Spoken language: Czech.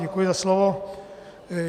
Děkuji za slovo.